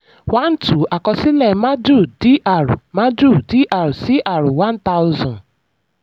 one two: àkọsílẹ̀ madhu dr madhu dr cr one thousand.